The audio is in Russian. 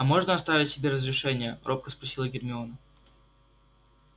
а можно оставить себе разрешение робко спросила гермиона